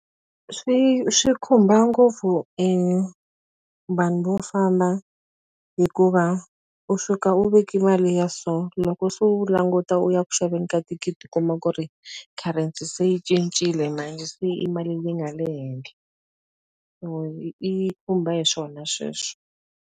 Swi swi khumba ngopfu e vanhu vo famba. Hikuva u suka u veke mali ya so loko se u languta u ya ku xaveni ka thikithi u kuma ku ri currency se yi cincile se i mali leyi nga le henhla. So yi khumba hi swona sweswo.